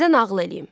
Sizə nağıl eləyim.